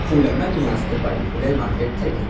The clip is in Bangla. ফুল আমরা নিয়ে আসতে পারি ফুলের মার্কেট থেকে।